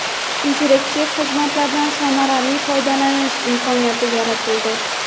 interaktiv xizmatlardan samarali foydalanish imkoniyati yaratildi.